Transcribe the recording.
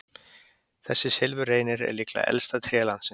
Þessi silfurreynir er líklega elsta tré landsins.